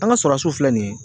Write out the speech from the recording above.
An ka filɛ nin ye.